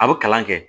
A bɛ kalan kɛ